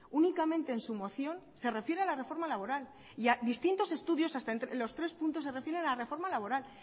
únicamente en su moción se refiere a la reforma laboral y distintos estudios entre los tres puntos se refieren a la reforma laboral